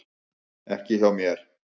Ekki hjá mér.